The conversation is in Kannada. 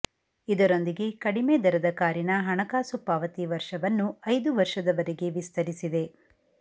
ಇದರೊಂದಿಗೆ ಕಡಿಮೆ ದರದ ಕಾರಿನ ಹಣಕಾಸು ಪಾವತಿ ವರ್ಷವನ್ನು ಐದು ವರ್ಷದವರೆಗೆ ವಿಸ್ತರಿಸಿದೆ